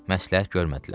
Məsləhət görmədilər.